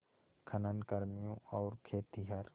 खनन कर्मियों और खेतिहर